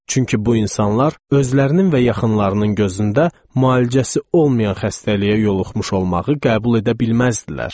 Çünki bu insanlar özlərinin və yaxınlarının gözündə müalicəsi olmayan xəstəliyə yoluxmuş olmağı qəbul edə bilməzdilər.